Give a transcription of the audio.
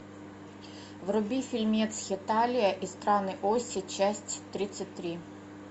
вруби фильмец хеталия и страны оси часть тридцать три